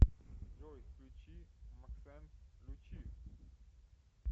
джой включи максенс лучи